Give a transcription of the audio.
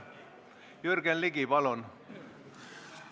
Jürgen Ligi, palun!